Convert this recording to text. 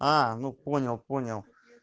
а ну понял понял